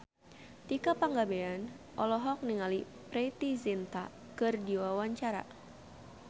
Tika Pangabean olohok ningali Preity Zinta keur diwawancara